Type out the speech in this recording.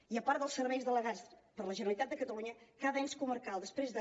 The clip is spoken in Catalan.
i a part dels serveis delegats per la generalitat de catalunya cada ens comarcal després de